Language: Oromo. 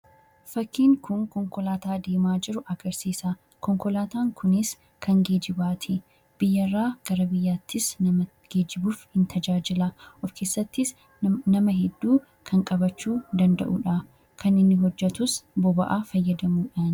Fakkiin kun konkolaataa deemaa jiru agarsiisa. Konkolaataan kunis kan geejjibaati. Biyya irraa gara biyyaattis nama geejjibuuf ni tajaajila. Of keessattis nama hedduu kan qabachuu danda'uudha. Kan inni hojjetus boba'aa fayyadamuudhaani.